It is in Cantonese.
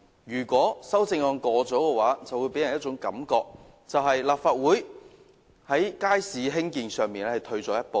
如果她的修正案獲得通過，便會令人覺得立法會在興建街市的立場退了一步。